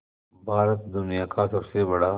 भारत दुनिया का सबसे बड़ा